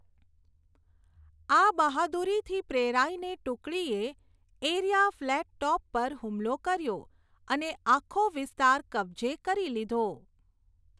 આ બહાદુરીથી પ્રેરાઈને ટુકડીએ એરિયા ફ્લેટ ટોપ પર હુમલો કર્યો અને આખો વિસ્તાર કબ્જે કરી લીધો.